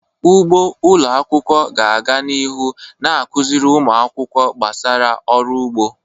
Ugbo ụlọ akwụkwọ ga-aga n'ihu na-akụziri ụmụ akwụkwọ gbasara ọrụ ugbo.